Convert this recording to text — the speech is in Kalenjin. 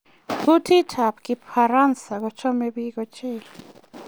Kutitab kifaransa kochome biik ochei